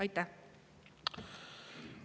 Aitäh!